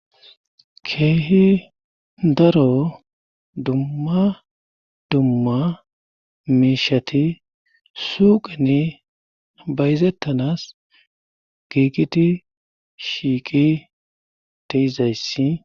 Keehi daro dumma dumma meishati suuqine bayzettanas giiqiti shiiqi teizayssi